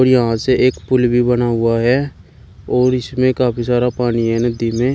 यहां से एक पूल भी बना हुआ है और इसमें काफी सारा पानी है नदी में।